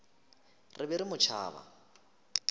re be re mo tšhaba